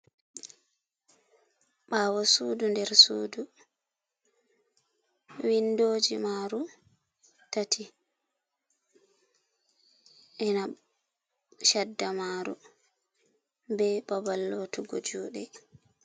Ɓaawo suudu nder suudu, windooji maaru tati ina shadda maaru be babal lootugo juude.